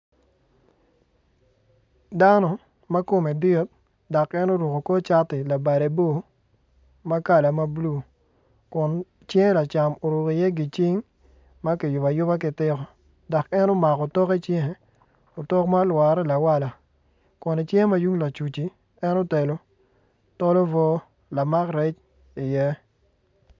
Dano ma kome dit dok en oruko kor cati labade bor ma kala ma bulu kun cinge lacam oruko iye gicing ma kiyubo ayuba ki tiko dok en omako otok icinge otok ma olwore lawala kun icinge ma tung lacuc-ci en otelo tol obwo lamak rec iye.